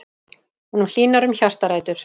Honum hlýnar um hjartarætur.